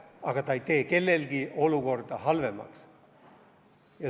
Aga see ei tee kellegi olukorda halvemaks.